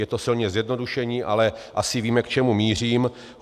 Je to silně zjednodušení, ale asi víme, k čemu mířím.